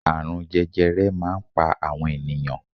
Àrùn jẹjẹrẹ máa ń pa àwọn ènìyàn